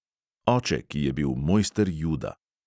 Oče, ki je bil mojster juda.